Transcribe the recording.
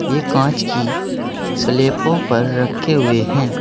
ये कांच की स्लैबो पर रखे हुए हैं।